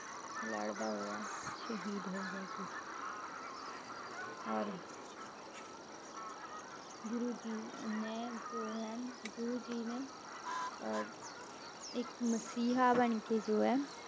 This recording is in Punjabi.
ਲੜਦਾ ਹੋਇਆ ਸ਼ਹੀਦ ਹੋ ਗਿਆ ਸੀ ਔਰ ਗੁਰੂ ਜੀ ਨੇ ਜੋ ਹੈ ਗੁਰੂ ਜੀ ਨੇ ਅਹ ਇੱਕ ਮਸ਼ੀਹਾ ਬਣਕੇ ਜੋ ਹੈ,